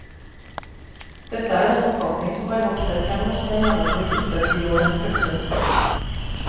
Dette er en oppfatning som har vokst frem hos meg gjennom de siste ti år. punktum